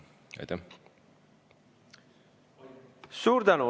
Suur tänu!